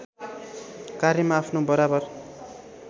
कार्यमा आफ्नो बराबर